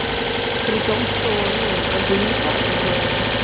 при том что ну как бы и не платят за это